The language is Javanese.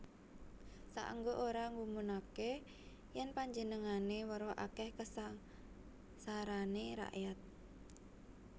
Saéngga ora nggumunaké yèn panjenegané weruh akèh kasangsarané rakyat